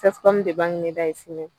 CSCOM ɲɛda ye sini ye